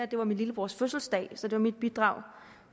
det var min lillebrors fødselsdag så det var mit bidrag